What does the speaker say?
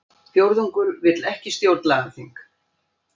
Fjórðungur vill ekki stjórnlagaþing